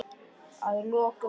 Að lokum framan í hana.